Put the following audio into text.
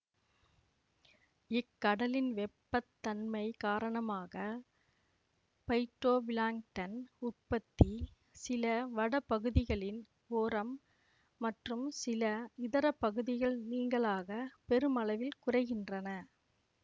இக்கடலின் வெப்பத்தன்மை காரணமாக பைட்டொபிளாங்டன் உற்பத்தி சில வடபகுதிகளின் ஓரம் மற்றும் சில இதர பகுதிகள் நீங்கலாக பெருமளவில் குறைகின்றன